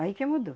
Aí que mudou.